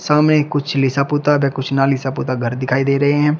सामने ये कुछ लिसा पोता कुछ ना लिसा पोता घर दिखाई दे रहे हैं।